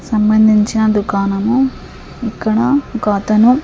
సంబంధించిన దుకానము ఇక్కడ ఒక అతను--